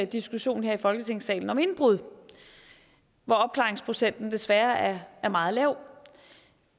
diskussion her i folketingssalen om indbrud hvor opklaringsprocenten desværre er meget lav